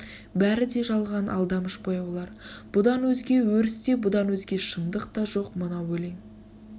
бәрі де жалған алдамыш бояулар бұдан өзге өріс те бұдан озге шындық та жоқ мынау олең